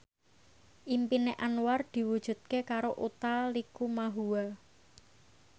impine Anwar diwujudke karo Utha Likumahua